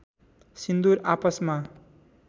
सिन्दूर आपसमा